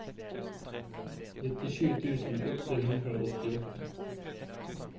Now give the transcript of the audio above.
nittisju tusen åtte hundre og åttiåtte